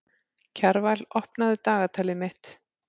Kjarval, opnaðu dagatalið mitt.